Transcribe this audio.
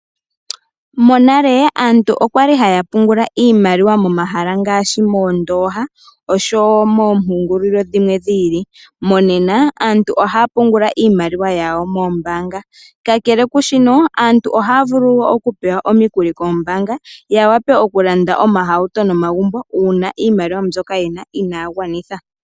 Monale aantu okwa li haya pungula iimaliwa momahala ngaashi moondoha osho wo moompungulilo dhimwe dhi ili, monena aantu ohaya pungula iimaliwa yawo moombaanga, kakele kushika aantu ohaya vulu wo okupewa omikuli koombaanga ya wape okulanda omahauto nomagumbo una iimaliwa mbyoka yena ina ya gwanitha.